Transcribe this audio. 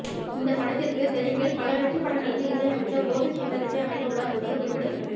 இந்த படத்திற்கு தெலுங்கில் பல வெற்றிப் படங்களுக்கு இசையமைத்த கோபி சுந்தர் இசை அமைக்க உள்ளார் என்பது குறிப்பிடத்தக்கது